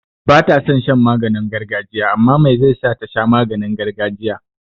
Bata son maganin gargajiya amma mai zai sa tasha maganin gargajiya?